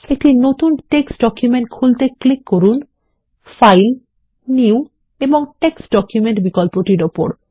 একটি নতুন text document খুলতে ক্লিক করুন ফাইল নিউ এবং টেক্সট ডকুমেন্ট বিকল্পটির উপর